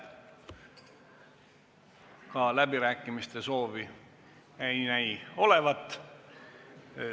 Ka läbirääkimiste soovi ei näi olevat.